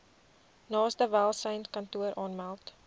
naaste welsynskantoor aanmeld